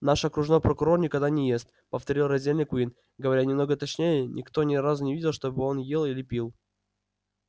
наш окружной прокурор никогда не ест повторил раздельно куинн говоря немного точнее никто ни разу не видел чтобы он ел или пил